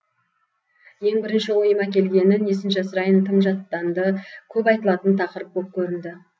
ең бірінші ойыма келгені несін жасырайын тым жаттанды көп айтылатын тақырып боп көрінді